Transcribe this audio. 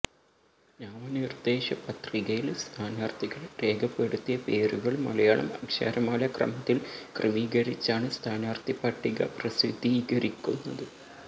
നാമനിർദേശ പത്രികയിൽ സ്ഥാനാർഥികൾ രേഖപ്പെടുത്തിയ പേരുകൾ മലയാളം അക്ഷരമാല ക്രമത്തിൽ ക്രമീകരിച്ചാണ് സ്ഥാനാർഥി പട്ടിക പ്രസിദ്ധികരിക്കുന്നത്